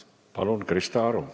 Palun, Krista Aru!